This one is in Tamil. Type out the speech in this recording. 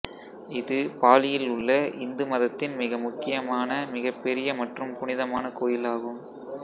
இது பாலியில் உள்ள இந்து மதத்தின் மிக முக்கியமான மிகப்பெரிய மற்றும் புனிதமான கோயில் ஆகும்